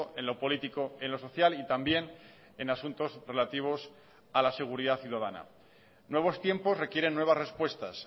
en lo político en lo social y también en asuntos relativos a la seguridad ciudadana nuevos tiempos requieren nuevas respuestas